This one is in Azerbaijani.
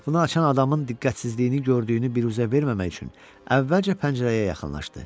Qapını açan adamın diqqətsizliyini gördüyünü biruzə verməmək üçün əvvəlcə pəncərəyə yaxınlaşdı.